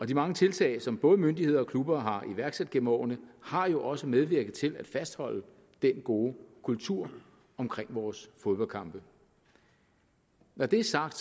de mange tiltag som både myndigheder og klubber har iværksat gennem årene har jo også medvirket til at fastholde den gode kultur omkring vores fodboldkampe når det er sagt